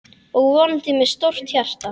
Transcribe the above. Og vonandi með stórt hjarta.